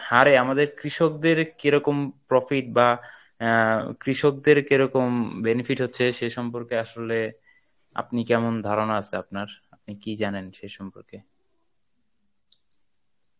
হারে আমাদের কৃষকদের কেরকম profit বা আহ কৃষকদের কেরকম উম benefit হচ্ছে সে সম্পর্কে আসলে আপনি কেমন ধারণা আছে আপনার, মানে কী জানেন সে সম্পর্কে?